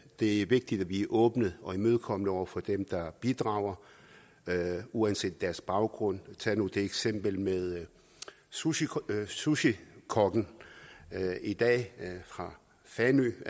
det er vigtigt at vi er åbne og imødekommende over for dem der bidrager uanset deres baggrund tag nu det eksempel med sushikokken sushikokken i dag fra fanø